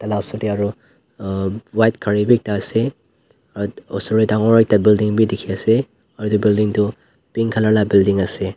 ala sor te aru white gari bhi ekta ase aru osor te ekta dangor building bhi dekhi ase aru etu building tu pink colour laga building ase.